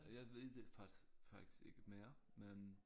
Jeg ved det faktisk faktisk ikke mere men